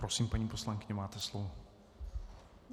Prosím, paní poslankyně, máte slovo.